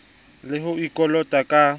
e le o kolotang ka